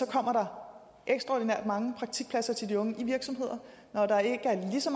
kommer der ekstraordinært mange praktikpladser til de unge i virksomheder når der ikke er lige så